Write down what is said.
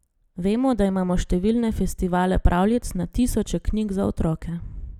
Vemo, da imamo številne festivale pravljic, na tisoče knjig za otroke.